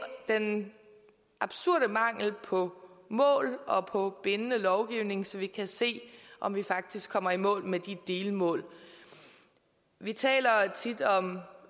den absurde mangel på mål og på bindende lovgivning så vi kan se om vi faktisk kommer i mål med de delmål vi taler tit om